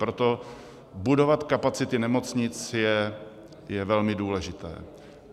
Proto budovat kapacity nemocnic je velmi důležité.